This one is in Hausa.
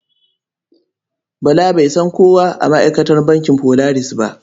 Bala bai san kowa a ma'aikatan bankin Polaris ba.